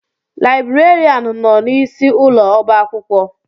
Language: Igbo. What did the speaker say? Laibrerianụ nọ n'isi ụlọ ọba akwụkwọ.